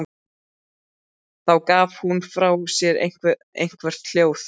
Þá gaf hún frá sér eitthvert hljóð.